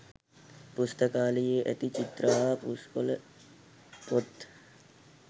පුස්තකාලයේ ඇති චිත්‍ර හා පුස්කොළ පොත්